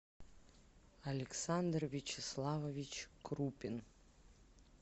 александр вячеславович крупин